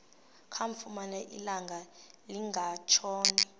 kamfumana ilanga lingekatshoni